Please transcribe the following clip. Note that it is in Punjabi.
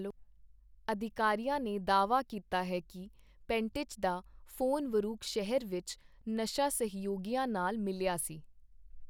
ਅਧਿਕਾਰੀਆਂ ਨੇ ਦਾਅਵਾ ਕੀਤਾ ਹੈ ਕਿ ਪੈਂਟਿਚ ਦਾ ਫੋਨ ਵੁਰੂਕ ਸ਼ਹਿਰ ਵਿੱਚ 'ਨਸ਼ਾ ਸਹਿਯੋਗੀਆਂ' ਨਾਲ ਮਿਲਿਆ ਸੀ।